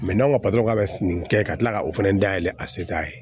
n'aw ka patɔrɔn ka nin kɛ ka tila ka o fɛnɛ dayɛlɛ a se t'a ye